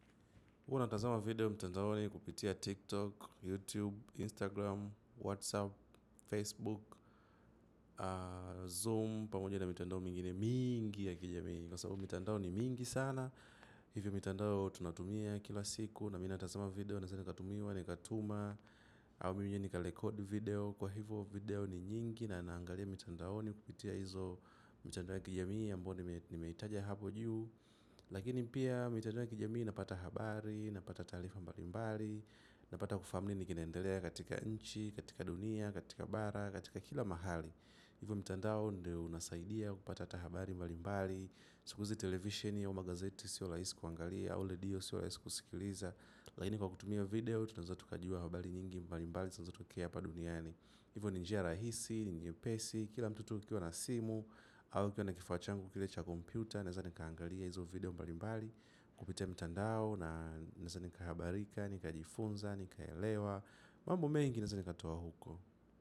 Huwa natazama video mtandaoni kupitia tiktok, youtube, instagram, whatsapp, facebook, zoom. Pamoja na mitandao mingine mingi ya kijamii kwa sababu mtandao ni mingi sana. Hivyo mitandao tunatumia kila siku. Na minatazama video naeze nikatumiwa ni katuma uu mimi mwenyewe nika record video kwa hivyo video ni nyingi. Na naangalia mtandaoni kupitia hizo mtandao ya kijamii ambao ni meitaja hapo juu. Lakini pia mitandao ya kijamii inapata habari, inapata talifa mbali mbali, inapata kufahamu ni kineendelea katika nchi, katika dunia, katika bara, katika kila mahali. Hivyo mitandao ndio unasaidia kupata hata habari mbali mbali, sikuzi television au magazeti siolaisi kuangalia, au ledio siolaisi kusikiliza. Lakini kwa kutumia video tunaeza tukajua habari nyingi mbali mbali, zinazotokea hapa duniani. Hivyo ni njia rahisi, ni nyepesi kila mtu tu ukiwa na simu au nikiwa na kifaa changu kile cha kompyuta naeza nikaangalia hizo video mbalimbali kupitia mtandao naeza nikahabarika, nika jifunza nika elewa, mambo mengi naeza nikatoa huko.